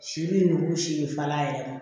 Si bi nugu siri fal'a yɛrɛ ma